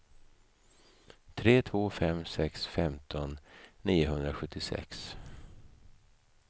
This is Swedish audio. tre två fem sex femton niohundrasjuttiosex